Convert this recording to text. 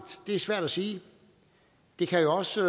er svært at sige det kan jo også